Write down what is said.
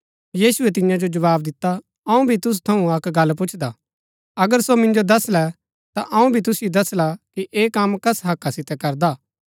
यीशुऐ तियां जो जवाव दिता अऊँ भी तुसु थऊँ अक्क गल्ल पुछदा अगर सो मिन्जो दसलै ता अऊँ भी तुसिओ दसला कि ऐह कम कस हक्का सितै करदा